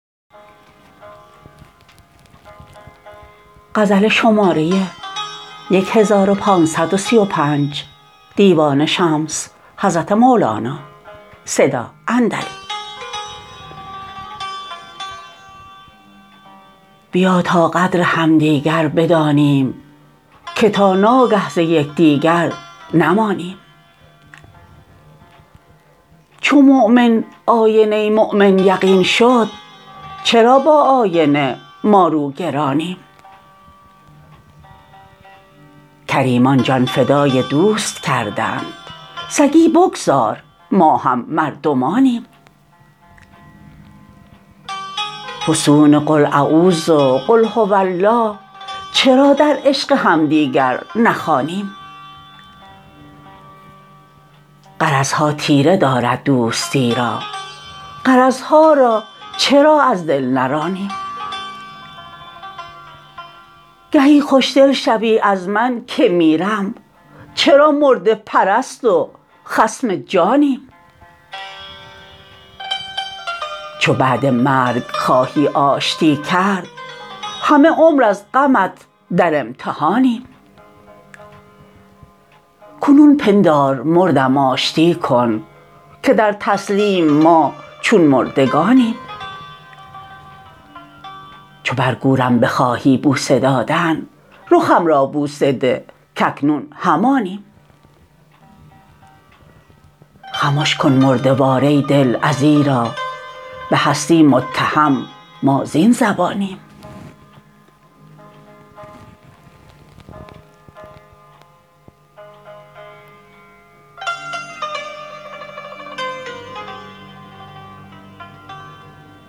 بیا تا قدر یکدیگر بدانیم که تا ناگه ز یکدیگر نمانیم چو مؤمن آینه ی مؤمن یقین شد چرا با آینه ما روگرانیم کریمان جان فدای دوست کردند سگی بگذار ما هم مردمانیم فسون قل اعوذ و قل هو الله چرا در عشق همدیگر نخوانیم غرض ها تیره دارد دوستی را غرض ها را چرا از دل نرانیم گهی خوشدل شوی از من که میرم چرا مرده پرست و خصم جانیم چو بعد مرگ خواهی آشتی کرد همه عمر از غمت در امتحانیم کنون پندار مردم آشتی کن که در تسلیم ما چون مردگانیم چو بر گورم بخواهی بوسه دادن رخم را بوسه ده کاکنون همانیم خمش کن مرده وار ای دل ازیرا به هستی متهم ما زین زبانیم